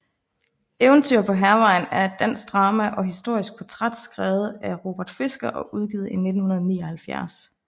Eventyr på Hærvejen er et dansk drama og historisk portræt skrevet af Robert Fisker og udgivet i 1979